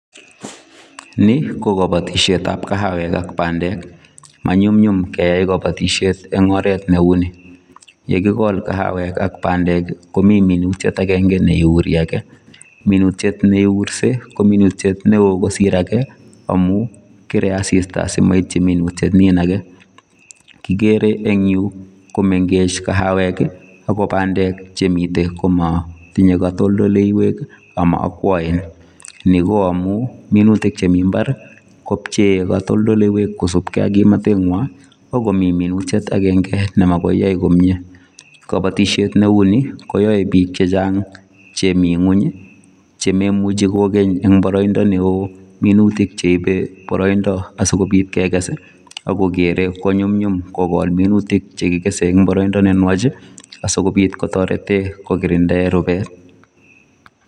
Ni ko kapatisiet ab kahawek ak pandek, manyumnyum keyai kapatisiet eng' oret neu ni yekikol kahawek ak pandek komii minutiet agenge ne i'uri age minutiet nurse ko minutiet neo kosir age amun kere asista asimaitchi minutiet nin age kigere en yu komengech kahawek ako pandek chemiten komatinye katoltoldaiwek ama ma'akwaen ni ko amun minutik chemi imbar kopcheye katoltoldaiwek chemakosupkei ak kimnatet ng'way akomii minutiet agenge nema koyai komnyee kapatisiet neuni koyae piik chechang' chemi ing'weny chemaimuche kogeny eng' paroindo neo minutik cheipe paroindo asikopit keges akogere konyumnyum kogol minutik chekigese eng paroindo nenwach asikopit kotorete kogirinde rupet.